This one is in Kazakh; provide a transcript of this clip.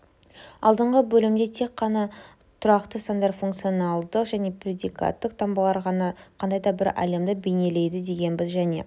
алдыңғы бөлімде тек қана тұрақты сандар функционалдық және предикаттық таңбалар ғана қандай да бір әлемді бейнелейді дегенбіз және